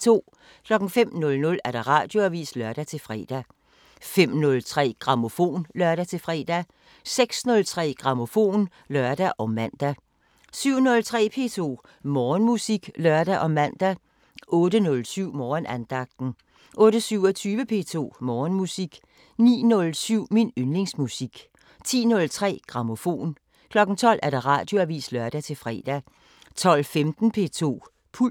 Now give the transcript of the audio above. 05:00: Radioavisen (lør-fre) 05:03: Grammofon (lør-fre) 06:03: Grammofon (lør og man) 07:03: P2 Morgenmusik (lør og man) 08:07: Morgenandagten 08:27: P2 Morgenmusik 09:07: Min yndlingsmusik 10:03: Grammofon 12:00: Radioavisen (lør-fre) 12:15: P2 Puls